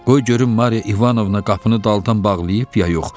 Qoy görüm Mariya İvanovna qapını dalıdan bağlayıb ya yox.